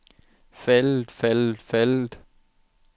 faldet faldet faldet